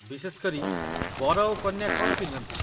ବିଶେଷ କରି, ବର ଓ କନ୍ୟା କ'ଣ ପିନ୍ଧନ୍ତି?